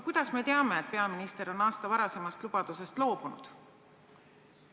Kuidas me teame, et peaminister on aasta varasemast lubadusest loobunud?